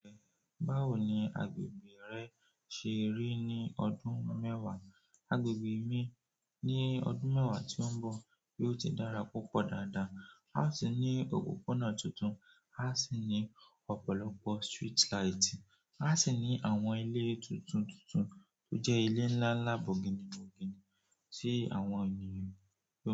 Báwo ni agbègbè rẹ ṣe rí ní ọdún mẹ́wàá? Agbègbè mi ní ọdún mẹ́wàá tí ó ń bọ̀ yóò ti dára púpọ̀ dáadáa. A ó tì ní òpópónà tuntun, a sì ní ọ̀pọ̀lọpọ̀ street light, a sì ní àwọn ilé tuntun tuntun tó jẹ́ ilé ńlá ńlá bọginni bọginni tí àwọn ènìyàn.